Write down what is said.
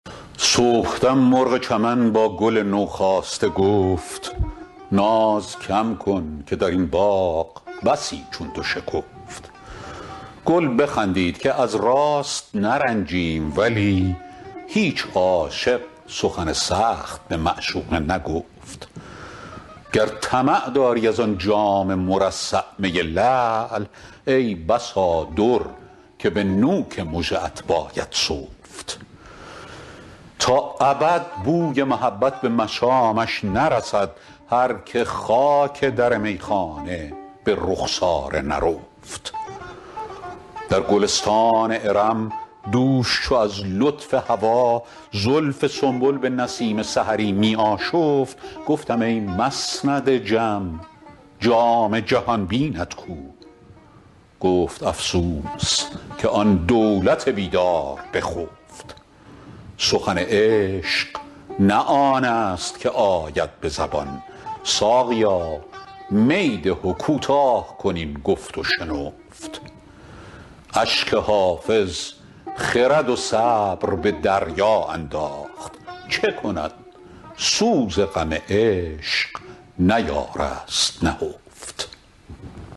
صبحدم مرغ چمن با گل نوخاسته گفت ناز کم کن که در این باغ بسی چون تو شکفت گل بخندید که از راست نرنجیم ولی هیچ عاشق سخن سخت به معشوق نگفت گر طمع داری از آن جام مرصع می لعل ای بسا در که به نوک مژه ات باید سفت تا ابد بوی محبت به مشامش نرسد هر که خاک در میخانه به رخسار نرفت در گلستان ارم دوش چو از لطف هوا زلف سنبل به نسیم سحری می آشفت گفتم ای مسند جم جام جهان بینت کو گفت افسوس که آن دولت بیدار بخفت سخن عشق نه آن است که آید به زبان ساقیا می ده و کوتاه کن این گفت و شنفت اشک حافظ خرد و صبر به دریا انداخت چه کند سوز غم عشق نیارست نهفت